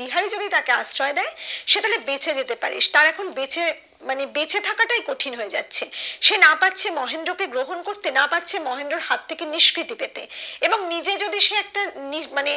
বিহারী যদি আশ্রয় দেয় সে তাহলে বেঁচে যাতে পারিস তার এখন বেঁচে মানে বেঁচে থাকা তাই কঠিন হয়ে যাচ্ছে সে না পারছে মহেন্দ্র কে গ্রহণ করতে না পারছে মহেন্দ্রর হাত থেকে নিষ্কৃতি পেতে এবং নিজে যদি সে একটা নিজে মানে